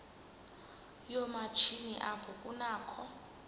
yoomatshini apho kunakho